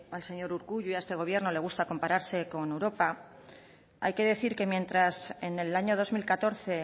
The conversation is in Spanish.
al señor urkullu y a este gobierno le gusta compararse con europa hay que decir que mientras en el año dos mil catorce